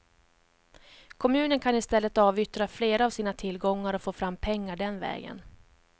Kommunen kan i stället avyttra fler av sina tillgångar och få fram pengar den vägen.